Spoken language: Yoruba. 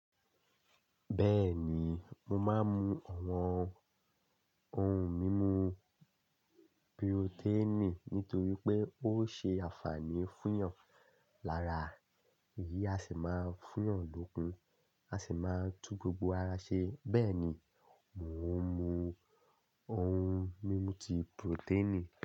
Bẹ́ẹ̀ni, mo máa ń mú àwọn ohun mímu purotẹ́ẹ̀nì nítorí pé ó ṣe àfààní fún ìyàn lára. Èyí á sì máa fún yàn lókun, á sì máa tún gbogbo ara ṣe. Bẹ́ẹ̀ ni, mò ń mú ohun mímu ti purotẹ́ẹ̀nì.